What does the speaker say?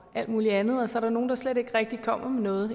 alt muligt andet og så er der nogle der slet ikke rigtig kommer med noget